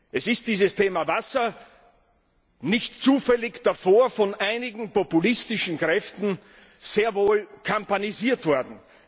Das Thema Wasser ist nicht zufällig davor von einigen populistischen Kräften sehr wohl kampagnisiert worden.